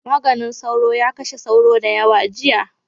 maganin sauro ya kashe sauro dayawa jiya